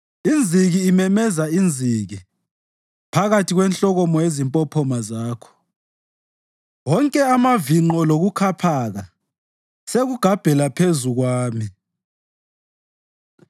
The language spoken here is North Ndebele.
Inziki imemeza inziki phakathi kwenhlokomo yezimpophoma zakho; wonke amavinqo lokukhaphaka sekugabhela phezu kwami.